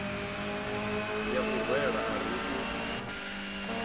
ya u rwela ari u